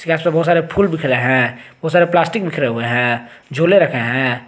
इसमें बहुत सारे फूल बिखरे हैं बहुत सारे प्लास्टिक बिखरे हुए हैं झोले रखे हैं।